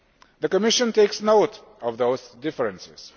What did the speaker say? The Commission takes note of those differences.